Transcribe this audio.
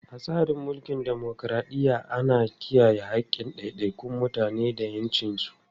A cikin tsarin dimokuradiyya, ana kiyaye haƙƙin ɗaiɗaikun mutane da ƴancinsu.